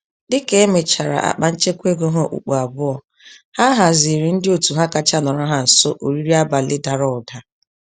Dịka emechara akpa-nchekwa-ego ha okpukpu abụọ, ha haziiri ndị òtù ha kacha nọrọ ha nso, oriri abalị dàrà ụda